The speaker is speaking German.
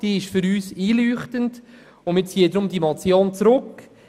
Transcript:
Sie ist für uns einleuchtend, deshalb ziehen wir die Motion zurück.